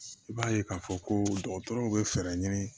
I b'a ye k'a fɔ ko dɔgɔtɔrɔw bɛ fɛɛrɛ ɲini